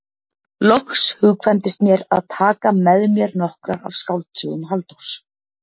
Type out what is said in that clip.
Loks hugkvæmdist mér að taka með mér nokkrar af skáldsögum Halldórs